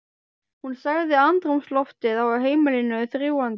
Hún sagði andrúmsloftið á heimilinu þrúgandi.